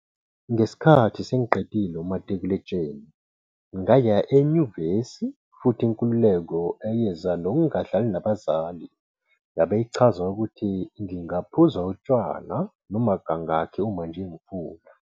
"Ngesikhathi sengiqedile umatikuletsheni, ngaya enyuvesi futhi inkululeko eyeza nokungahlali nabazali yabe ichaza ukuthi ngingaphuza utshwala noma kangaki uma nje ngifuna."